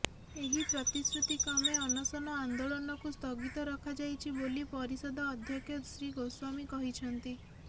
ଏହି ପ୍ରତିଶ୍ରୁତିକ୍ରମେ ଅନଶନ ଆନେ୍ଦାଳନକୁ ସ୍ଥଗିତ ରଖାଯାଇଛି ବୋଲି ପରିଷଦ ଅଧ୍ୟକ୍ଷ ଶ୍ରୀଗୋସ୍ୱାମୀ କହିଛନ୍ତି